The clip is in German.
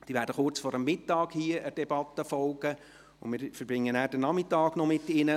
Sie werden der Debatte kurz vor Mittag folgen, und wir verbringen dann den Nachmittag mit ihnen.